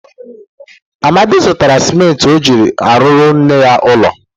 Amadi zutara simenti o ji aruru nne ya ulo.